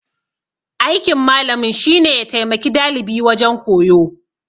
Aikin malamin shine ya taimaki dalibi wajen koyo.